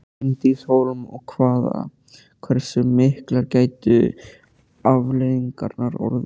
Bryndís Hólm: Og hvaða, hversu miklar gætu afleiðingarnar orðið?